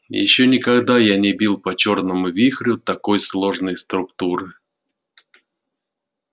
ещё никогда я не бил по чёрному вихрю такой сложной структуры